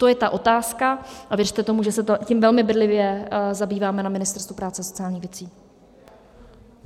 To je ta otázka a věřte tomu, že se tím velmi bedlivě zabýváme na Ministerstvu práce a sociálních věcí.